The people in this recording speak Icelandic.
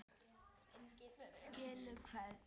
Skilaðu kveðju!